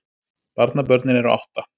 Barnabörnin eru átta